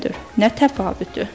Nə təfavütü?